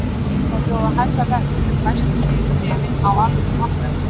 Við yrðum að bjóða hærra verð en fæst fyrir bréfin á almennum markaði